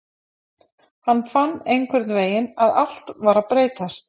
Hann fann einhvernvegin að allt var að breytast.